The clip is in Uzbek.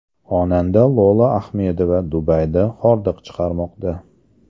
Xonanda Lola Ahmedova Dubayda hordiq chiqarmoqda.